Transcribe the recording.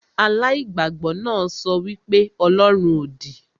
Aláìgbàgbọ náà sọ wí pé ọlọ́run òdì